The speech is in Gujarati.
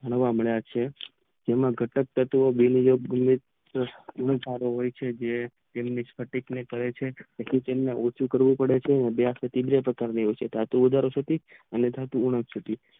જોવા મળેય છે તેમાં જે સારો હોય છે જે તમને પથિકશાહ કરે છે તેમને ઉભો કરવું પડે છે તેથી તેને જલદે કરવું પડે છે અને પછી પુન કરે છે